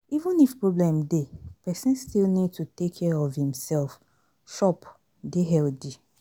Even if problem dey, person still need to take care of im self, chop, dey healthy